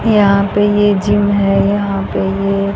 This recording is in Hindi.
यहां पे ये जिम है यहां पे ये--